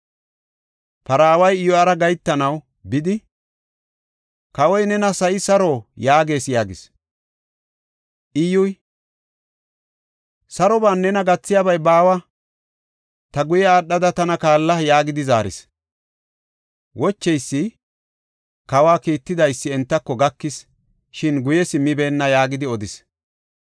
Paraaway Iyyura gahetanaw bidi, “Kawoy nena, ‘Sa7ay saro?’ yaagees” yaagis. Iyyuy, “Saroban nena gathiyabay baawa. Ta guye aadhada tana kaalla” yaagidi zaaris. Wocheysi kawa, “Kiitetidaysi entako, gakis; shin guye simmibeenna” yaagidi odis.